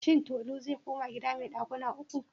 Shin Tolu zai koma gida mai ɗakuna ukun?